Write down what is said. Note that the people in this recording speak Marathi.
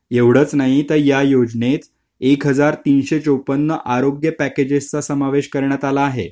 एवढंच नाही तर या योजनेत एक हजार तीनशे चोपन्न आरोग्य पॅकेजेस चा समावेश करण्यात आला आहे .